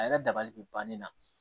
A yɛrɛ dabali bɛ ban ne na